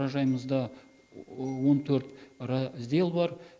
мұражайымызда он төрт раздел бар